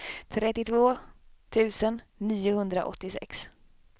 trettiotvå tusen niohundraåttiosex